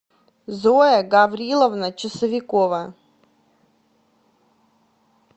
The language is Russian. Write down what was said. зоя гавриловна часовикова